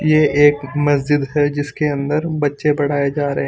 ये एक मजिद है जिसके अंदर बच्चे पढाये जा रहे।